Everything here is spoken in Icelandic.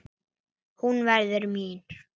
Hún verður mín.